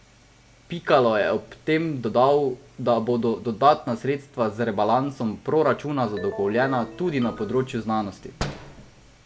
Pikalo je ob tem dodal, da bodo dodatna sredstva z rebalansom proračuna zagotovljena tudi na področju znanosti.